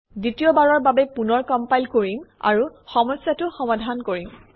দ্বিতীয়বাৰৰ বাবে পুনৰ কমপাইল কৰিম আৰু সমস্যাটো সমাধান কৰিম